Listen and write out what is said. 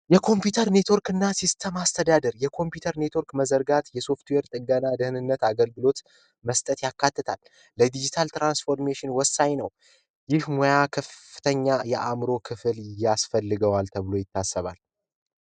ኮምፒዩተር ኔትወርክና ሲስተም ማስተዳደር የኮምፒዩተር ኔትወርክ መዘርጋትና የሶፍትዌር ጥገና እና ደህንነት አገልግሎት መስጠት ያካትታል። ለድጅታል ትራንስፎርሜሽን ወሳኝ ነው። ይህ የሙያ ክፍል ከፍተኛ የአእምሮ ክፍል ያስፈልገዋል ተብሎ ይታሰባል።